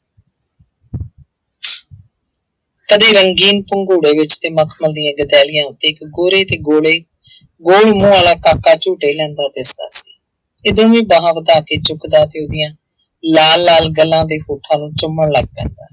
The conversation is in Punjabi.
ਕਦੇ ਰੰਗੀਨ ਪੰਗੂੜੇ ਵਿੱਚ ਤੇ ਮਖਮਲ ਦੀਆਂ ਗਦੈਲੀਆਂ ਉੱਤੇ ਇੱਕ ਗੋਰੇ ਤੇ ਗੋਲੇ ਗੌਲ ਮੂੰਹ ਵਾਲਾ ਕਾਕਾ ਝੂਟੇ ਲੈਂਦਾ ਦਿਸਦਾ ਸੀ, ਜਦੋਂ ਵੀ ਬਾਹਾਂ ਵਧਾ ਕੇ ਚੁੱਕਦਾ ਤੇ ਉਹਦੀਆਂ ਲਾਲ ਲਾਲ ਗੱਲਾਂ ਦੇ ਹੋਠਾਂ ਨੂੰ ਚੁੰਮਣ ਲੱਗ ਪੈਂਦਾ।